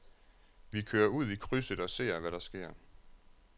Vi kører ud i krydset og ser, hvad der sker.